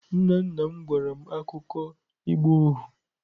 Nna nna m gwara m akụkọ ịgba ohu.